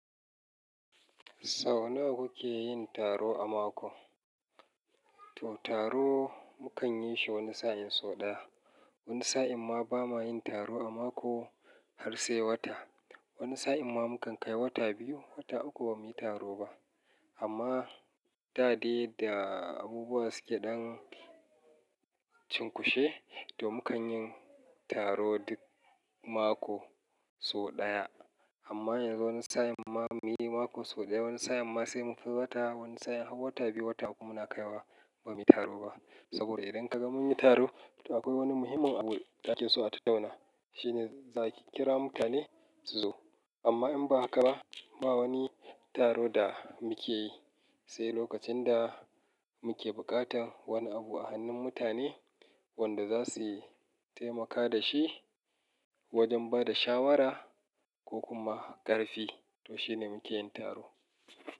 Sau nawa kuke yin taro a mako? To taro mu kan yi shi wani sa'in so ɗaya. Wani sa'in ma ba ma yin taro a mako har sai wata. Wani sa'in ma mu kan kai wata biyu, wata uku ba mu yi taro ba. Amma da dare da abubuwa suke ɗan cunkushe, to mu kan yin taro duk mako so ɗaya. Amma yanzu wani sa'in ma muyi mako so ɗaya, wani sa'in ma sai muka yi wata, wani sa'in har wata biyu, wata uku muna kaiwa ba mu yi taro ba. Saboda idan ka ga mun yi taro, to akwai wani muhimmin abu ake so a tattauna. Shine zakin kira mutane su zo. Amma in ba haka ba, ma wani taro da muke yi, sai lokacin da muke buƙatan wani abu a hannun mutane wanda za su taimaka da shi wajen bada shawara ko kuma ƙarfi to shine muke yin taro.